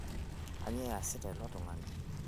kanyio eyasita ilo tung'ani